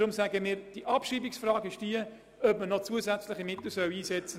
Wir können Ihnen zurzeit keine zusätzlichen Mittel anbieten.